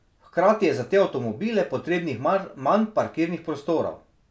Hkrati je za te avtomobile potrebnih manj parkirnih prostorov.